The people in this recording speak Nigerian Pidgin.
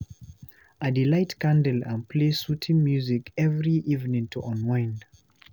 I dey light candle and play soothing music every evening to unwind.